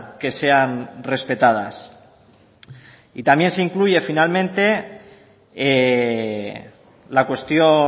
que sean respetadas también se incluye finalmente la cuestión